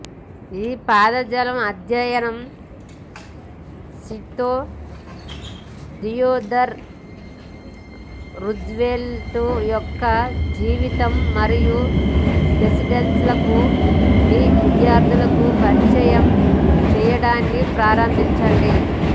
ఈ పదజాలం అధ్యయనం షీట్తో థియోడర్ రూజ్వెల్ట్ యొక్క జీవితం మరియు ప్రెసిడెన్సీలకు మీ విద్యార్థులను పరిచయం చేయడాన్ని ప్రారంభించండి